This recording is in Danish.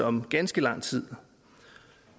om ganske lang tid